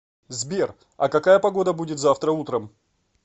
сбер а какая погода будет завтра утром